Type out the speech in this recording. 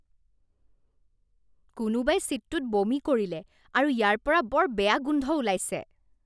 কোনোবাই ছিটটোত বমি কৰিলে আৰু ইয়াৰ পৰা বৰ বেয়া গোন্ধ ওলাইছে।